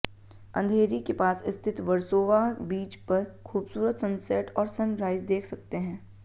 अंधेरी के पास स्थित वर्सोवा बीच पर खूबसूरत सनसेट और सनराइज देख सकते हैं